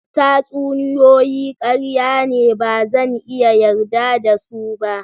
Tatsuniyoyi karya ne ba zan iya yarda da su ba.